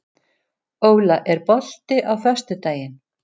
Óla, er bolti á föstudaginn?